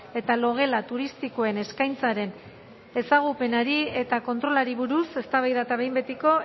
eta logela turistikoen eskaintzaren ezagupenari eta kontrolari buruz eztabaida eta behin betiko